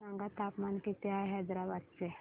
सांगा तापमान किती आहे हैदराबाद चे